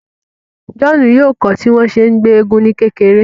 John yoo kọ tí wọn ṣe ngbé èègún ni kékeré